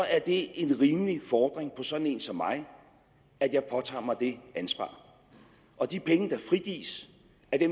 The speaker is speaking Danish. er det en rimelig fordring på sådan en som mig at jeg påtager mig det ansvar af de penge der frigives